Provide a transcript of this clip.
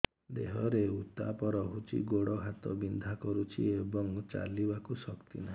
ଦେହରେ ଉତାପ ରହୁଛି ଗୋଡ଼ ହାତ ବିନ୍ଧା କରୁଛି ଏବଂ ଚାଲିବାକୁ ଶକ୍ତି ନାହିଁ